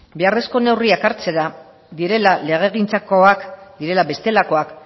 beharrezko neurriak hartzera direla legegintzakoak direla bestelakoak